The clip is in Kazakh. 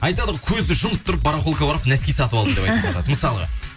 айтады ғой көзді жұмып тұрып барахолкіге барып нәски сатып алдым деп айтыватады мысалы